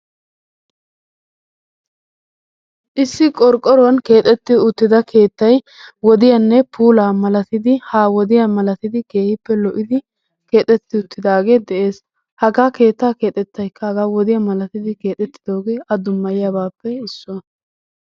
Issi qorqqoruwan keexettida keettayi wodiyanne puulaa malatidi ha wodiya malatidi keehippe lo'idi keexetti uttidaagee de'es. Hagaa keettaa keexettayikka hagaa wodiya malatidi keexettidoogee a dummayiyabaappe issuwa.